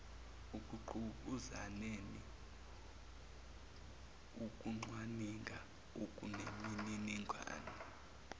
ekungqubuzaneni ukucwaninga okunemininingane